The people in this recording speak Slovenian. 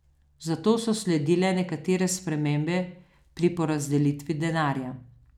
Zato so sledile nekatere spremembe pri porazdelitvi denarja.